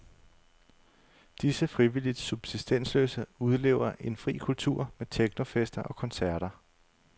Disse frivilligt subsistensløse udlever en fri kultur med technofester og koncerter.